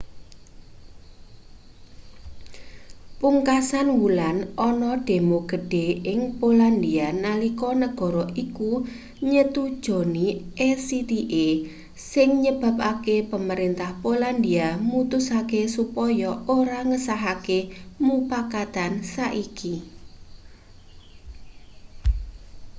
pungkasan wulan ana demo gedhe ing polandia nalika negara iku nyetujoni acta sing nyebabake pamrentah polandia mutusake supaya ora ngesahake mupakatan saiki